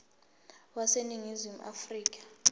wase ningizimu afrika